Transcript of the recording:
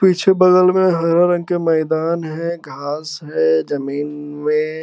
पीछे बगल में हरा रंग के मैदान है घास है जमीन में।